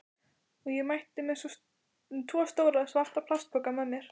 Og ég mætti með tvo stóra, svarta plastpoka með mér.